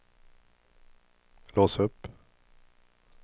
lås upp